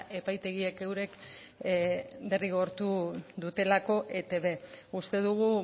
epaitegiek eurek derrigortu dutelako etb uste dugu